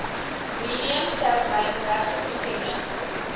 medium termyn regtetoekenning